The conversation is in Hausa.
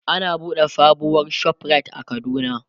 an buɗe sabuwar ShopRite a kaduna